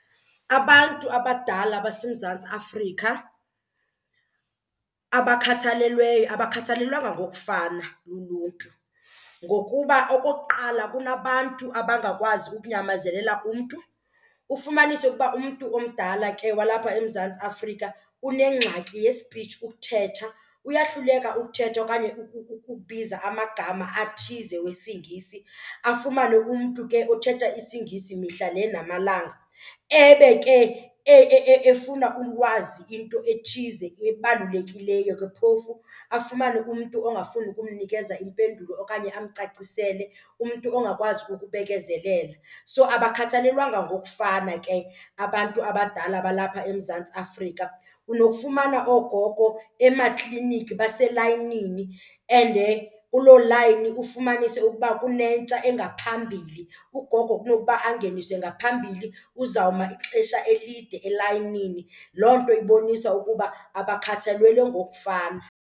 Abantu abadala baseMzantsi Afrika abakhathalelweyo abakhathalelwanga ngokufana luluntu ngokuba okokuqala, kunabantu abangakwazi ukunyamezelela umntu. Ufumanise ukuba umntu omdala ke walapha eMzantsi Afrika unengxaki ye-speech, ukuthetha, uyahluleka ukuthetha okanye ukubiza amagama athize wesiNgi. Afumane umntu ke othetha isiNgisi mihla le namalanga ebe ke efuna ulwazi into ethize ebalulekileyo ke phofu, afumane umntu ongafuni ukumnikeza impendulo okanye amcacisele, umntu ongakwazi ukubekezelela. So abakhathalelwanga ngokufana ke abantu abadala balapha eMzantsi Afrika. Unokufumana oogogo emakliniki baselayinini and kuloo layini ufumanise ukuba kunentsha engaphambili, ugogo kunokuba angeniswe ngaphambili uzawuma ixesha elide elayinini. Loo nto ibonisa ukuba abakhathalelwe ngokufana.